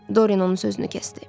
Dorian onun sözünü kəsdi.